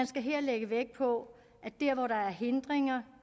skal her lægges vægt på at dér hvor der er hindringer